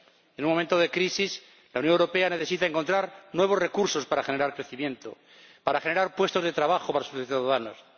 En un momento de crisis la Unión Europea necesita encontrar nuevos recursos para generar crecimiento, para generar puestos de trabajo para sus ciudadanos.